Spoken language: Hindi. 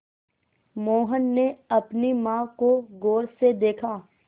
मोहन ने अपनी माँ को गौर से देखा